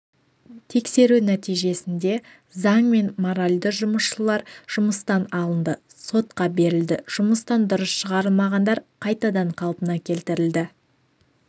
тексеру нәтижесінде заң мен моральды бұзушылар жұмыстан алынды сотқа берілді жұмыстан дұрыс шығарылмағандар қайтадан қалпына келтірілді